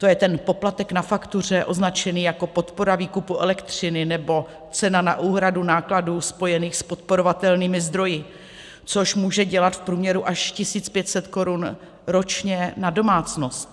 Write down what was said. To je ten poplatek na faktuře označený jako podpora výkupu elektřiny, nebo cena na úhradu nákladů spojených s podporovatelnými zdroji, což může dělat v průměru až 1 500 korun ročně na domácnost.